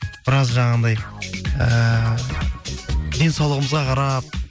біраз жанағындай ііі денсаулығымызға қарап